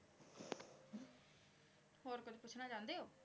ਪੋਚਨਾ ਚੰਦੇ ਊ